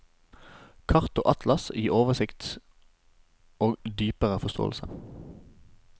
Kart og atlas gir oversikt og dypere forståelse.